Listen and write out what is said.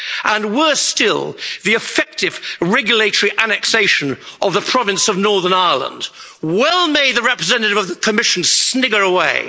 and, worse still, the effective regulatory annexation of the province of Northern Ireland. Well may the representative of the Commission snigger away.